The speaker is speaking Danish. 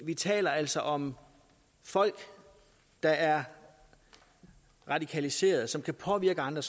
vi taler altså om folk der er radikaliserede og som kan påvirke andre